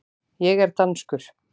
Ég er danskur.